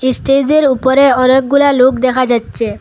ইস্টেজের উপরে অনেকগুলা লোক দেখা যাচ্ছে।